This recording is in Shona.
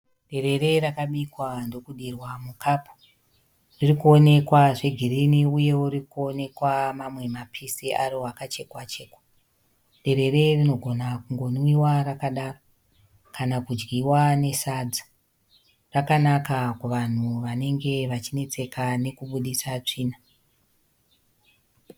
Derera rakabikwa ndokudirwa mukapu. Riri kuonekwa zvegirini uyewo riri kuonekwa mamwe mapisi aro akachekwa-chekwa. Derere rinogona kungonwiwa rakadaro, kana kudyiwa nesadza. Rakanaka kuvanhu vanenge vachinetseka nekubuditsa tsvina.